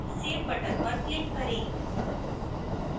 save button पर click करें